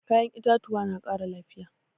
Kayan itatuwa na ƙara lafiya.